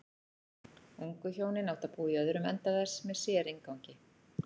Ungu hjónin áttu að búa í öðrum enda þess með sérinngangi.